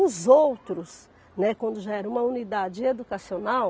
Os outros, né, quando já era uma unidade educacional,